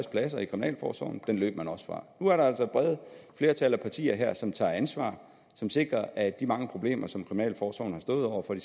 pladser i kriminalforsorgen den løb man også fra nu er der altså et bredt flertal af partier her som tager ansvar og som sikrer at de mange problemer som kriminalforsorgen har stået over for i